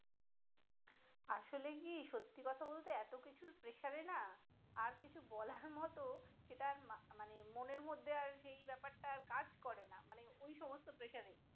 আসলে কি সত্তি কথা বলতে এতো কিছুর pressure এ না আর কিছু বলার মতো সেটা আর মানে মনের মধ্যে আর সেই ব্যাপারটা আর কাজ করে না মানে ওই সমস্ত pressure